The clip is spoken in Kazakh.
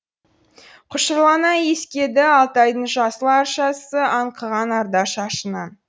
құшырлана иіскеді алтайдың жасыл аршасы аңқыған арда шашынан